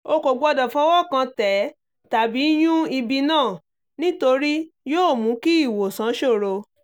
o kò gbọdọ̀ fọwọ́ kàn tẹ̀ tàbí yun ibi náà nítorí yóò mú kí ìwòsàn ṣòro